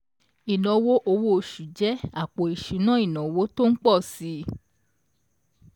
ìnáwó owó oṣù jẹ́ àpò ìṣúná ìnáwó tó ń pọ̀ si